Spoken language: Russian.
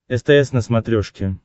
стс на смотрешке